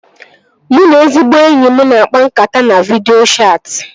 Mụ na ezigbo enyi m na-akpa nkata na vidịo chatị